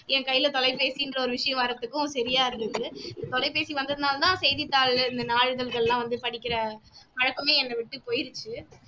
என் கையில தொலைபேசின்ற ஒரு விஷயம் வர்றத்துக்கும் சரியா இருந்துச்சு தொலைபேசி வந்ததுனால தான் செய்தித்தாள் இந்த நாளிதழ்கள் எல்லாம் வந்து படிக்கிற பழக்கமே என்ன விட்டு போயிருச்சு